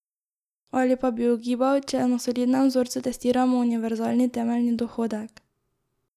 Ali pa bi ugibal, če na solidnem vzorcu testiramo univerzalni temeljni dohodek.